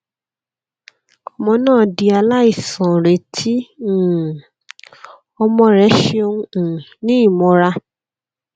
ọmọ naa di alaisanreti um ọmọ rẹ ṣeun um ni imọra